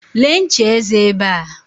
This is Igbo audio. Lee ncha eze ebe a.